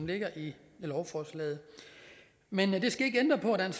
ligger i lovforslaget men det skal ikke ændre på at